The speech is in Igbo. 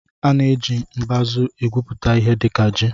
A na-eji mbazụ egwupụta ihe dịka ji